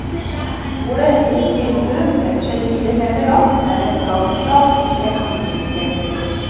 Bordet i spisestuen strekker seg fire meter langt med vennskapelig plass til et dusin gjester.